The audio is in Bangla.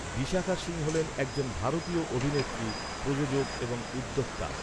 বিশাখা সিং হলেন একজন ভারতীয় অভিনেত্রী, প্রযোজক এবং উদ্যোক্তা।